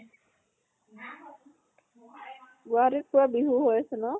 গুৱাহাটীত পুৰা বিহু হৈ আছে ন?